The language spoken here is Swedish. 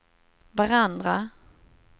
varandra